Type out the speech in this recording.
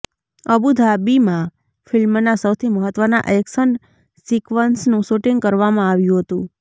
અબુધાબીમાં ફિલ્મના સૌથી મહત્વના એક્શન સિકવન્સનું શુટીંગ કરવામાં આવ્યું હતુ